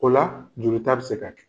O la jolita be se ka kɛ.